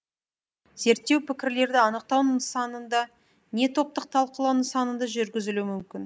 зерттеу пікірлерді анықтау нысанында не топтық талқылау нысанында жүргізілуі мүмкін